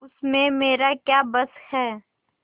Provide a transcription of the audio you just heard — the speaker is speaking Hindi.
उसमें मेरा क्या बस है